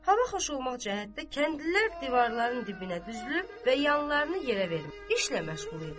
Hava xoş olmaq cəhətdə kəndlilər divarların dibinə düzülüb və yanlarını yerə verib işlə məşğul idilər.